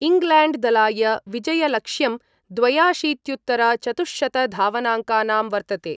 England दलाय विजयलक्ष्यं द्वयाशीत्युत्तर चतुश्शतधावनांकानां वर्तते।